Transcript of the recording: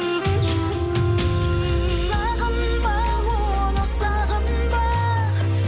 сағынба оны сағынба